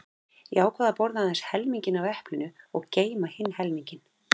Ég ákvað að borða aðeins helminginn af eplinu og geyma hinn helminginn.